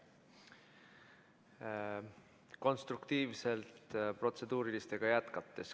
Konstruktiivselt protseduuriliste küsimustega jätkates.